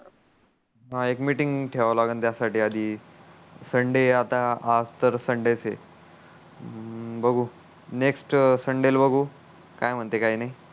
हा एक मीटिंग ठेवावी लागण त्या साठी आधी सनडे आता आज तर सनडे आहे बघू नेक्स्ट सनडे ला बघू काय म्हणते काय नाही